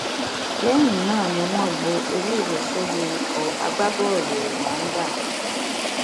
lẹyìn náà ni wọn gbọ ewúro sójú ikọ agbábọọlù rwanda